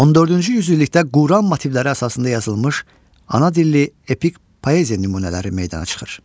14-cü yüzillikdə Quran motivləri əsasında yazılmış ana dilli epik poeziya nümunələri meydana çıxır.